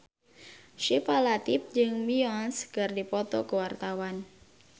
Syifa Latief jeung Beyonce keur dipoto ku wartawan